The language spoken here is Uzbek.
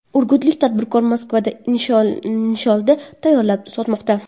Urgutlik tadbirkor Moskvada nisholda tayyorlab sotmoqda.